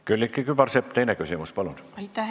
Külliki Kübarsepp, teine küsimus, palun!